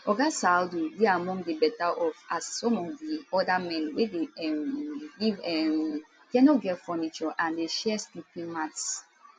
oga saadu dey among di betteroff as some of di oda men wey dey um live um dia no get furniture and dey share sleeping mats